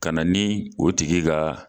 Ka na ni o tigi ka